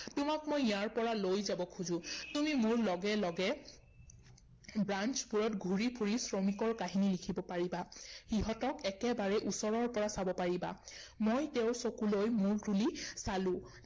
তোমাক মই ইয়াৰ পৰা লৈ যাব খোজো। তুমি মোৰ লগে লগে branch বোৰত ঘূৰি ফুৰি শ্ৰমিকৰ কাহিনী লিখিব পাৰিবা। সিহঁতক একেবাৰে ওচৰৰ পৰা চাব পাৰিবা। মই তেওঁৰ চকুলৈ মূৰ তুলি চালো ৷